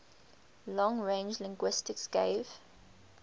long range linguistics gave